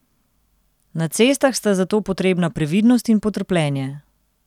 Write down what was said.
Na cestah sta zato potrebna previdnost in potrpljenje.